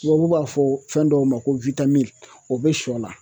Tubabu b'a fɔ fɛn dɔw ma ko o bɛ sɔ la